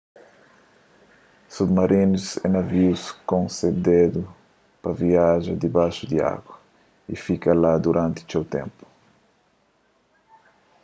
submarinus é navius konsebedu pa viaja dibaxu di agu y fika la duranti txeu ténpu